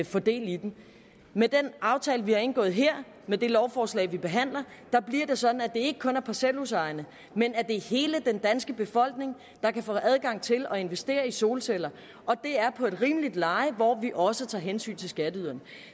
få del i med den aftale vi har indgået her med det lovforslag vi behandler her bliver det sådan at ikke kun er parcelhusejerne men at det er hele den danske befolkning der kan få adgang til at investere i solceller og det er på et rimeligt leje hvor vi også tager hensyn til skatteyderne